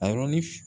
A yɔrɔn ni f